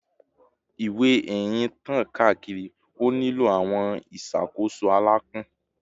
Ewe eyin tan kaakiri, o nilo awọn iwọn iṣakoso alãpọn